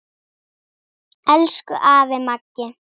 Elsku afi Maggi.